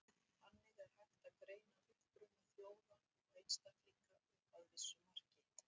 Þannig er hægt að greina uppruna þjóða og einstaklinga, upp að vissu marki.